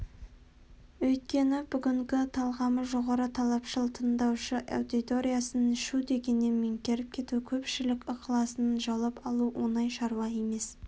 өйткені бүгінгі талғамы жоғары талапшыл тыңдаушы аудиториясын шу дегеннен меңгеріп кету көпшілік ықыласын жаулап алу оңай шаруа емес